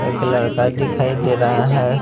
एक लड़का दिखाई दे रहा है।